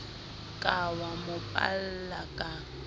ka wa mo palla ka